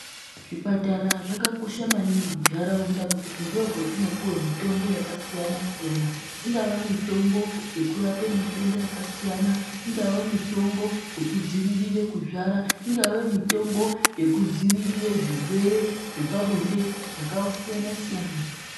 Zvipatara zvakakosha maningi mundaraunda ngekuti ndokwatinopuwa mitombo yakasiyana siyana ingava mitombo yekurapa matenda akasiyana ingave mitombo yekudzivirira kuzvara ingave mitombo yekudzivirira zvirwere zvepabonde zvakasiyana siyana.